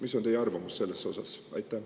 Mis on teie arvamus selles osas?